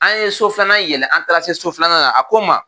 An ye so filanan yɛlɛ an taara se so filanan la a ko n ma